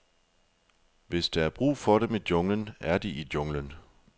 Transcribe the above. Hvis der er brug for dem i junglen, er de i junglen.